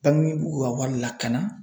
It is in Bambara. n'i b'u ka wari lakana